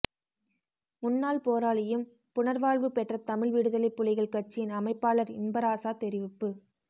முன்னாள் போராளியும் புனர்வாழ்வுபெற்ற தமிழ் விடுதலைப்புலிகள் கட்சியின் அமைப்பாளர் இன்பராசா தெரிவிப்பு